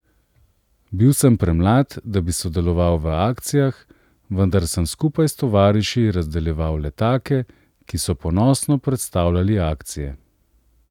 Bil sem premlad, da bi sodeloval v akcijah, vendar sem skupaj s tovariši razdeljeval letake, ki so ponosno predstavljali akcije.